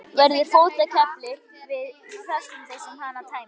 Flaskan verður fótakefli flestum þeim sem hana tæma.